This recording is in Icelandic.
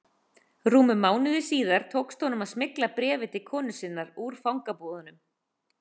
Rúmum mánuði síðar tókst honum að smygla bréfi til konu sinnar úr fangabúðunum.